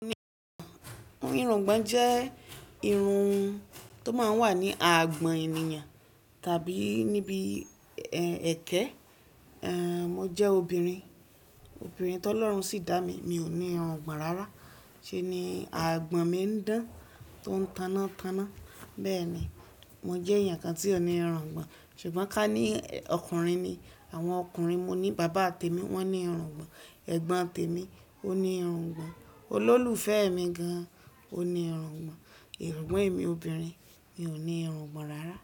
Irungbọ́n jẹ́ irun tó máa ń wà ní agbọ̀n ènìyàn tàbí níbi ẹkẹ. Ehn, mo jẹ́ obìnrin, obìnrin tó lọ́run sì dá mi, mi ò ní irungbọ̀n rárá. Ṣé ni àgbọ̀n mi ń dán, tó ń tanná tanná. Bẹ́ẹ̀ ni, mo jẹ́ èèyàn kan tí ò ní irun àgbọ̀n. Ṣùgbọ́n ká ní ọkùnrin ni, àwọn ọkùnrin, mo ní bàbá tèmi, wọ́n ní irungbọ̀n, ẹ̀gbọ́n tèmi ó ní irungbọ̀n, olólùfẹ́ mi gan-an ó ní irungbọ̀n. Sùgbón emi obìnrin, mi ò ní irun àgbọ̀n rárá.